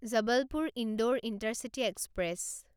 Jabalpur Indore intercity express